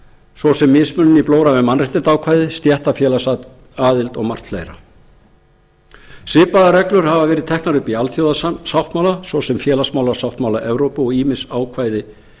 svo sem mismunun í blóra við mannréttindaákvæði stéttarfélagsaðild og margt fleira svipaðar reglur hafa verið teknar upp í alþjóðasáttmála svo sem félagsmálasáttmála evrópu og ýmis ákvæði